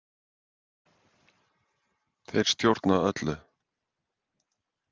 Þeir stjórna öllu.